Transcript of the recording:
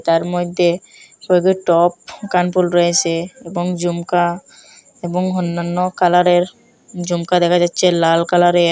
তার মইদ্যে হৈগে টপ কানপুল রয়েসে এবং জুমকা এবং অন্যান্য কালারের জুমকা দেখা যাচচে লাল কালারের।